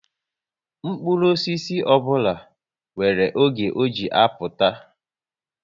Mkpụrụ osisi ọbụla nwere oge ọ ji apụta